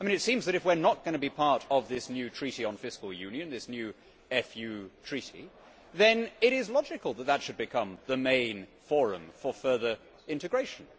It seems that if we are not going to be part of this new Treaty on Fiscal Union, this new FU Treaty, then it is logical that this should become the main forum for further integration.